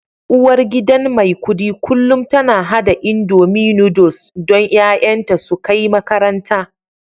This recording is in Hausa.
Uwargidan Maikudi kullum tana hada indomie Noodles don 'ya'yanta su kai makaranta